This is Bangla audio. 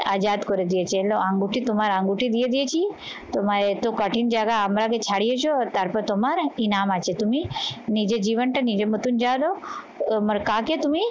আজাদ করে দিয়েছেন আঙ্গুলটি তোমার আঙ্গুটি দিয়ে দিয়েছি তোমায় এ তো কঠিন জায়গা আমরা আগে ছাড়িয়েছ আর তারপর তোমার একটি নাম আছে তুমি নিজের জীবনটা নিজের মতন যাও তো, তোমার কাকে তুমি